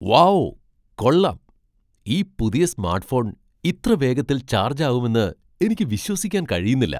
Wow , കൊള്ളാം, ഈ പുതിയ സ്മാട്ട്ഫോൺ ഇത്ര വേഗത്തിൽ ചാർജ് ആവുമെന്ന് എനിക്ക് വിശ്വസിക്കാൻ കഴിയുന്നില്ല!